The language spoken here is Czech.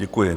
Děkuji.